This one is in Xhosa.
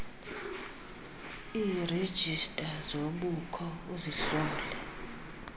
iirejista zobukho uzihlole